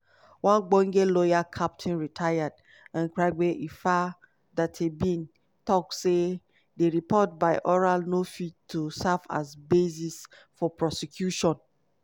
one ogbonge lawyer captain (rtd) nkrabea effah darteybin tok say di report by oral no fit to serve as basis for prosecution.